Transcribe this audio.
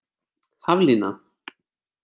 Haflína